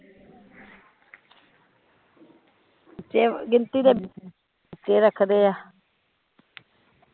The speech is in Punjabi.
ਤੇ ਗਿਨਦੀ ਦੇ ਰੱਖਦੇ ਆ